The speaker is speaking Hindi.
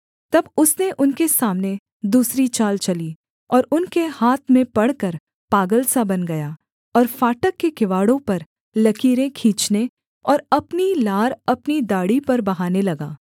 तब उसने उनके सामने दूसरी चाल चली और उनके हाथ में पड़कर पागल सा बन गया और फाटक के किवाड़ों पर लकीरें खींचने और अपनी लार अपनी दाढ़ी पर बहाने लगा